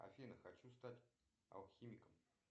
афина хочу стать алхимиком